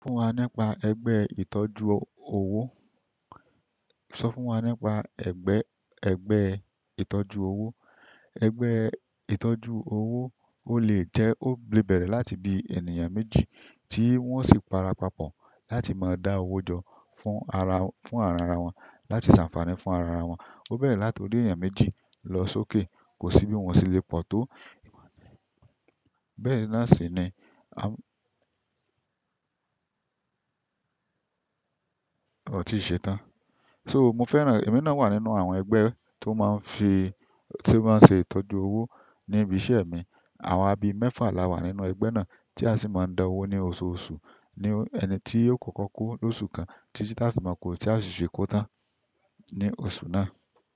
Sọ fún wa nípa ẹgbẹ́ ìtọ́jú owó. Sọ fún wa nípa ẹgbẹ́, ẹgbẹ́ ìtọ́jú owó. Ẹgbẹ́ ìtọ́jú owó ó lè jẹ́, ó lè bẹ̀rẹ̀ láti bí ènìyàn méjì tí wón sì para papọ̀ láti máa dá owó jọ fún ara, fún ara ara wọn, láti ṣànfààní fún ara ara wọn. Ó bẹ̀rẹ̀ láti orí ènìyàn méjì lọ sókè. Ko si bi won o se le po to bẹ́ẹ̀ náà si ni ahh. Ò tíì ṣe tán. So mo fẹ́ràn, èmi náà wà nínú àwọn ẹgbẹ́ tó máa ń fi, tó máa ń ṣe ìtọ́jú owó ní ibi iṣẹ́ mi. Awa bi mefa lawa nínú egbe náà ti a si maa n da owo ni ososu ni ẹni ti yio koko ko losu kan, titi ti a maa ko tan ni oṣù náà.